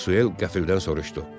Maxwell qəfildən soruşdu.